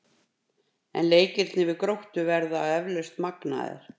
En leikirnir við Gróttu verða eflaust magnaðir.